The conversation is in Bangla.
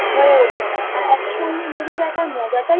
হয়ে ওঠে না সঙ্গে মোবই দেখার মজাটাই